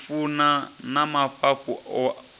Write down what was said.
u funa na mafhafhu o